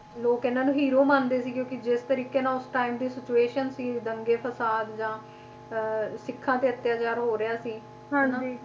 ਲੋਕ ਇਹਨਾਂ ਨੂੰ hero ਮੰਨਦੇ ਸੀ ਕਿਉਂਕਿ ਜਿਸ ਤਰੀਕੇ ਨਾਲ ਉਸ time ਦੀ situation ਸੀ ਦੰਗੇ ਫਸਾਦ ਜਾਂ ਅਹ ਸਿੱਖਾਂ ਤੇ ਅੱਤਿਆਚਾਰ ਹੋ ਰਿਹਾ ਸੀ